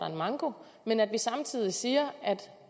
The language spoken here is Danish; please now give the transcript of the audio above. en manko men at vi samtidig siger at